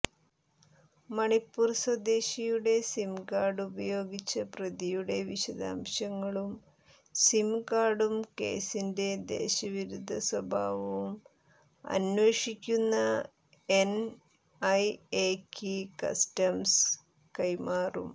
മണിപ്പുർ സ്വദേശിയുടെ സിംകാർഡ് ഉപയോഗിച്ച പ്രതിയുടെ വിശദാംശങ്ങളും സിംകാർഡും കേസിന്റെ ദേശവിരുദ്ധ സ്വഭാവം അന്വേഷിക്കുന്ന എൻഐഎയ്ക്ക് കസ്റ്റംസ് കൈമാറും